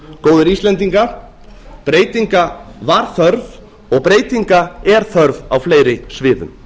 góðir íslendingar breytinga var þörf og breytinga er þörf á fleiri sviðum